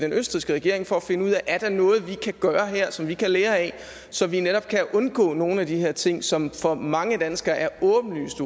østrigske regering for at finde ud af om der er noget vi kan gøre her som vi kan lære af så vi netop kan undgå nogle af de her ting som for mange danskere er åbenlyst